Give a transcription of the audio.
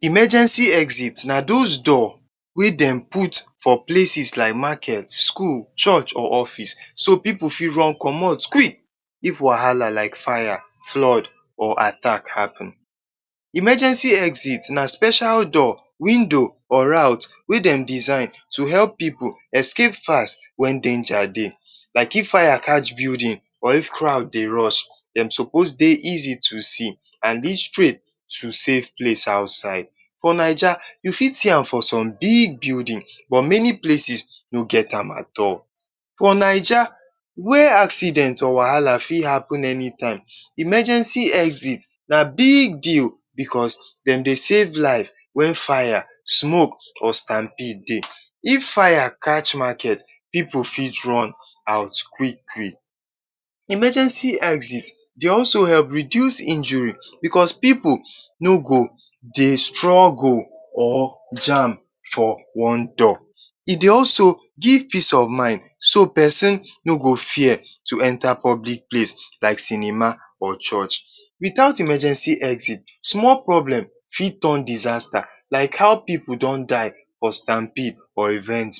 Emergency exit na dos door wey dem put for places like maket, skul, church or office so pipu fit run comot quick if wahala like fire, flood or attack happen. Emergency exit Na special door, window, route wey dem design to help pipu escape fast wen danger dey like, if fire catch building or if crowed dey rust, dem sopos dey easy to see and dey straight to safe place outside. For Naija, you fit see am for some big building for many places no get am at all. For Naija wey acident or wahala fit happen anytime, emergency exit na big deal because dem dey safe life wen fire, smoke or stamb B Dey, if fire catch maket, pipu fit run out quick-quick. Emergency exit dey also help reduce injury because pipu no go dey struggle or jam for one door, also give peace of mind so dat pesin no go fear to enta public place like cinema or church. Without emergency exit, small place fit turn disasta. How pipu do die for stamb B